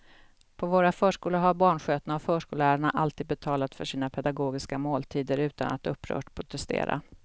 På våra förskolor har barnskötarna och förskollärarna alltid betalat för sina pedagogiska måltider utan att upprört protestera.